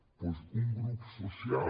doncs un grup social